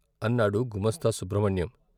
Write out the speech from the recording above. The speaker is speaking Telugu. " అన్నాడు గుమాస్తా సుబ్రహ్మణ్యం.